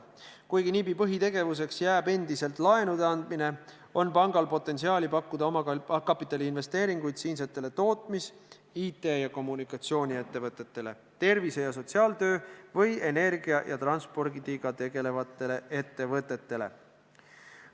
Kuigi NIB-i põhitegevuseks jääb endiselt laenude andmine, on pangal potentsiaali pakkuda omakapitaliinvesteeringuid siinsetele tootmis-, IT- ja kommunikatsiooniettevõtetele, tervise ja sotsiaaltööga või energia ja transpordiga tegelevatele ettevõtetele.